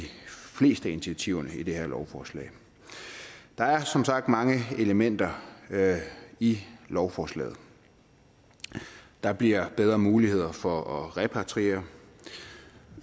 fleste af initiativerne i det her lovforslag der er som sagt mange elementer i lovforslaget der bliver bedre muligheder for at repatriere og